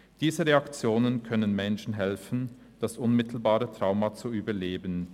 Diese Reaktionen können Menschen helfen, das unmittelbare Trauma zu überleben;